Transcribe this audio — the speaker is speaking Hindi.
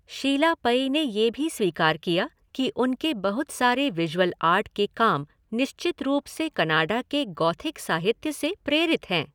शीला पई ने ये भी स्वीकार किया कि उनके बहुत सारे विजुअल आर्ट के काम निश्चित रूप से कनाडा के गॉथिक साहित्य से प्रेरित हैं।